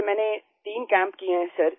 sir मैंने 3 camp किये है सर